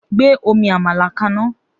Gbé omi àmàlà kaná!